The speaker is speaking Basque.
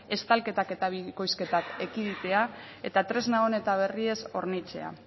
estalketak eta bikoizketak ekiditea eta tresna on eta berriez hornitzea